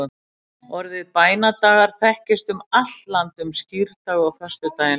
orðið bænadagar þekkist um allt land um skírdag og föstudaginn langa